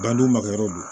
Dandu makɛyɔrɔ don